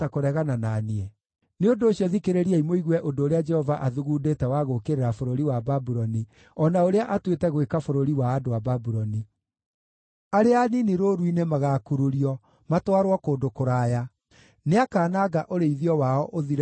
Nĩ ũndũ ũcio, thikĩrĩriai mũigue ũndũ ũrĩa Jehova athugundĩte wa gũũkĩrĩra bũrũri wa Babuloni, o na ũrĩa atuĩte gwĩka bũrũri wa andũ a Babuloni: Arĩa anini rũũru-inĩ magaakururio, matwarwo kũndũ kũraya; nĩakananga ũrĩithio wao ũthire biũ nĩ ũndũ wao.